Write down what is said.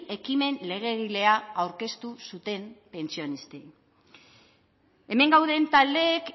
ekimen legegilea aurkeztu zuten pentsionistei hemen gauden taldeek